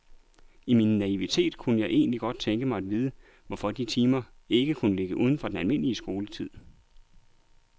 I min naivitet kunne jeg egentlig godt tænke mig at vide, hvorfor de timer ikke kunne ligge uden for den almindelige skoletid.